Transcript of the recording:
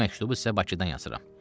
Bu məktubu sizə Bakıdan yazıram.